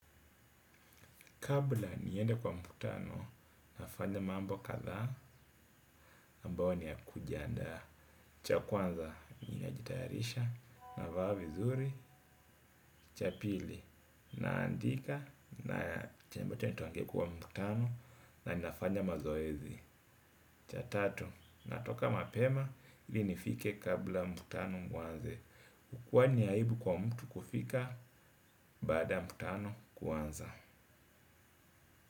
Kabla niende kwa mkutano, nafanya mambo kadhaa ambao ni ya kujiandaa cha kwanza ninajitayarisha navaa vizuri cha pili naandika na cha mbote nituangekuwa mkutano na nafanya mazoezi. Cha tatu, natoka mapema ili nifike kabla mkutano uanze. Kwani ni aibu kwa mtu kufika baada ya mkutano kuanza.